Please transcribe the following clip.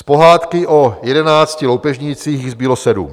Z pohádky o jedenácti loupežnících jich zbylo sedm.